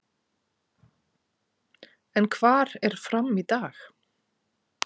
En hvar er FRAM í dag?